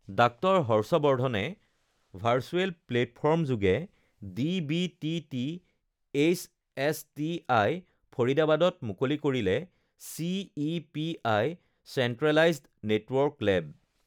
ডাঃ হৰ্ষৱৰ্ধনে virtual platform যোগে DBT THSTI ফৰিদাবাদত মুকলি কৰিলে চিইপিআই চেণ্ট্ৰেলাইজড নেটৱৰ্ক লেব